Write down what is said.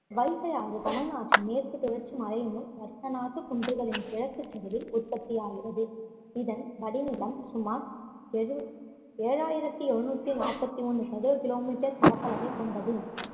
வைகையாறு தமிழ்நாட்டின் மேற்கு தொடர்ச்சி மலையிலுள்ள வருசநாட்டு குன்றுகளில் கிழக்குச் சரிவில் உற்பத்தியாகிறது இதன் வடிநிலம் சுமார் எழு~ ஏழாயிரத்தி ஏழுநூத்தி நாப்பத்தி ஒண்ணு சதுர kilometer பரப்பளவைக் கொண்டது